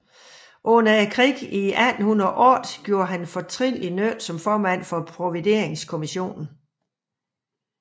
Under krigen 1808 gjorde han fortrinlig nytte som formand for Provideringskommissionen